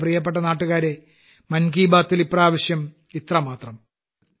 എന്റെ പ്രിയപ്പെട്ട നാട്ടുകാരേ മൻ കി ബാത്ത്ൽ ഇപ്രാവശ്യം ഇത്രമാത്രം